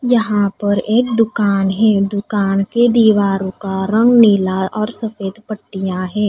यहाँ पर एक दुकान है दुकान के दीवारो का रंग नीला और सफ़ेद पट्टियां है।